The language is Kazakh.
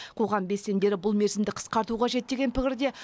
қоғам белсенділері бұл мерзімді қысқарту қажет деген пікірде